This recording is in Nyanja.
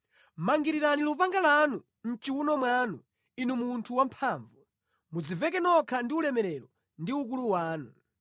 Mangirirani lupanga lanu mʼchiwuno mwanu, inu munthu wamphamvu; mudziveke nokha ndi ulemerero ndi ukulu wanu.